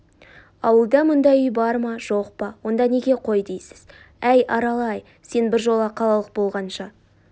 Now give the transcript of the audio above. ауылда мұндай үй бар ма жоқ онда неге қой дейсіз әй арал-ай сен біржола қалалық болғанша